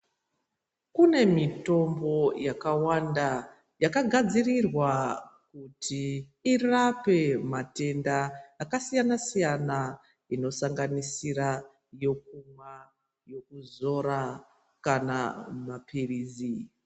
Kune mitombo yakawanda yakagadzirirwa kuti irape matenda akasiyana siyana inosanganisira yokumwa , yokuzora kana mapirizi.